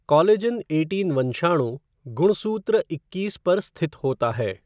Collagen eighteen वंशाणु, गुणसूत्र इक्कीस पर स्थित होता है।